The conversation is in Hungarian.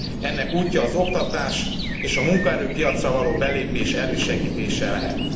Ennek útja az oktatás és a munkaerőpiacra való belépés elősegítése lehet.